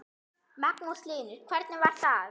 Magnús Hlynur: Hvernig var það?